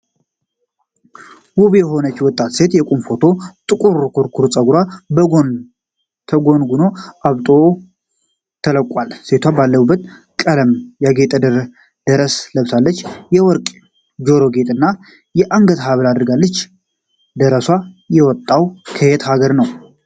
ውብ የሆነች ወጣት ሴት የቁም ፎቶ። ጥቁር ኩርኩር ፀጉሯ በጎን ተጎንጉኖ አብጦ ተለቋል። ሴቷ ባለብዙ ቀለም ያጌጠ ደረስ ለብሳለች። የወርቅ ጆሮ ጌጥ እና የአንገት ሐብል አድርጋለች። ደርሷ የመጣው ከየት ሀገር ነው?